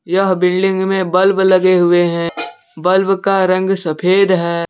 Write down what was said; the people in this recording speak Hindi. यह बिल्डिंग में बल्ब लगे हुए हैं बल्ब का रंग सफेद है।